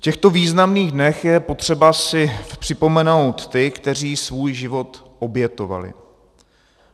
V těchto významných dnech je potřeba si připomenout ty, kteří svůj život obětovali.